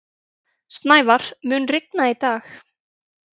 Snævar, mun rigna í dag?